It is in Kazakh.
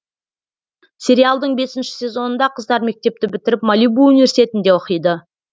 сериалдың бесінші сезонында қыздар мектепті бітіріп малибу университетінде оқиды